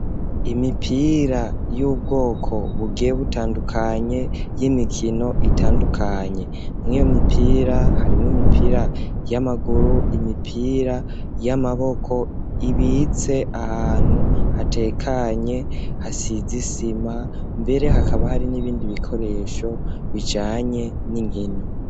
Imipira y'ubwoko butandukanye y'imikino itandukanye. Mw'iyo mipira harimwo imipira y'amaguru, imipira y'amaboko ibitse ahantu hatekanye hasize isima mbere hakaba hari n'ibindi bikoresho bijanye n'inkino.